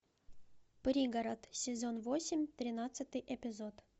пригород сезон восемь тринадцатый эпизод